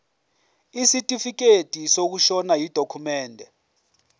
isitifikedi sokushona yidokhumende